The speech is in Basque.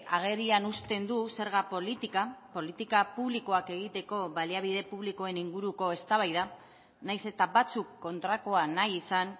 agerian usten du zerga politika politika publikoak egiteko baliabide publikoen inguruko eztabaida nahiz eta batzuk kontrakoa nahi izan